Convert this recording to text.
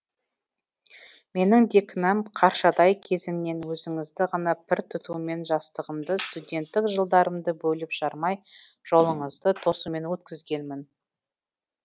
менің де кінәм қаршадай кезімнен өзіңізді ғана пір тұтумен жастығымды студенттік жылдарымды бөліп жармай жолыңызды тосумен өткізгенім